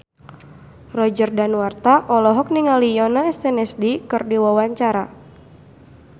Roger Danuarta olohok ningali Yoona SNSD keur diwawancara